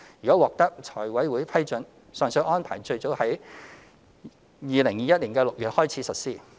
如獲財委會批准，上述安排最早可於2021年6月起實施。